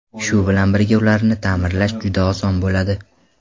Shu bilan birga ularni ta’mirlash juda oson bo‘ladi.